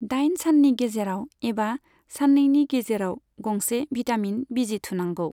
दाइन साननि गेजेराव एबा साननैनि गेजेराव गंसे भिटामिन बिजि थुनांगौ।